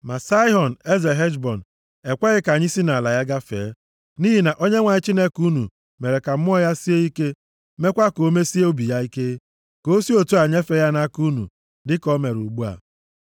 Ma Saịhọn, eze Heshbọn, ekweghị ka anyị si nʼala ya gafee. Nʼihi na Onyenwe anyị Chineke unu mere ka mmụọ ya sie ike, meekwa ka o mesie obi ya ike, ka o si otu a nyefee ya nʼaka unu dịka ọ mere ugbu a.